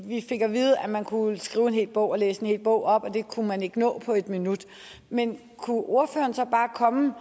vi fik at vide at man kunne skrive en hel bog og at læse en hel bog op og at det kunne man ikke nå på en minut men kunne ordføreren så bare komme